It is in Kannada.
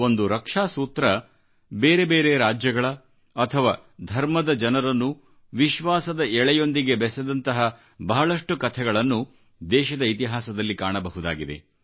ಒಂದು ರಕ್ಷಾ ಸೂತ್ರ ಬೇರೆಬೇರೆ ರಾಜ್ಯಗಳ ಅಥವಾ ಧರ್ಮದ ಜನರನ್ನು ವಿಶ್ವಾಸದ ಎಳೆಯೊಂದಿಗೆ ಬೆಸೆದಂತಹ ಬಹಳಷ್ಟು ಕಥೆಗಳನ್ನು ದೇಶದ ಇತಿಹಾಸದಲ್ಲಿ ಕಾಣಬಹುದಾಗಿದೆ